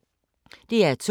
DR2